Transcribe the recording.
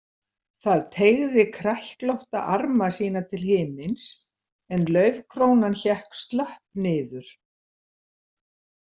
Það teygði kræklótta arma sína til himins en laufkrónan hékk slöpp niður.